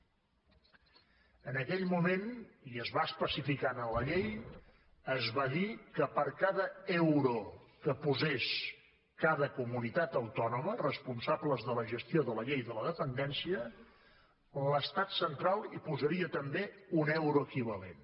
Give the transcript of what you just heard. en aquell moment i es va especificar a la llei es va dir que per cada euro que posés cada comunitat autònoma responsables de la gestió de la llei de la dependència l’estat central hi posaria també un euro equivalent